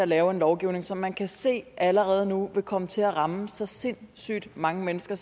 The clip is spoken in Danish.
laver en lovgivning som man kan se allerede nu vil komme til at ramme så sindssygt mange mennesker